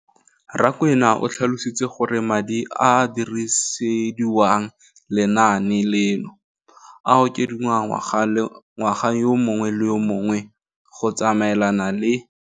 Rakwena o tlhalositse gore madi a a dirisediwang lenaane leno a okediwa ngwaga yo mongwe le yo mongwe go tsamaelana le.